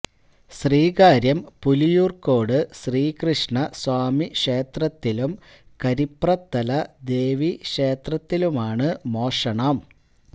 ശ്രീകാര്യം പുലിയൂര്കോട് ശ്രീകൃഷ്ണ സ്വാമി ക്ഷേത്രത്തിലും കരിപ്രത്തല ദേവീ ക്ഷേത്രത്തിലുമാണ് മോഷണം